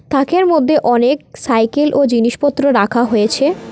তাকের মধ্যে অনেক সাইকেল ও জিনিসপত্র রাখা হয়েছে।